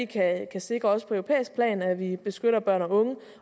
kan sikre at vi beskytter børn og unge